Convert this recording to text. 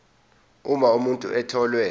uma umuntu etholwe